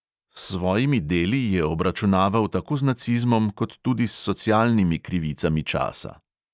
S svojimi deli je obračunaval tako z nacizmom, kot tudi s socialnimi krivicami časa.